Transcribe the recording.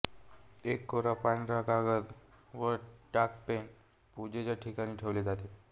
एक कोरा पांढरा कागद व टाकपेन पूजेच्या ठिकाणी ठेवले जाते